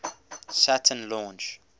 saturn launch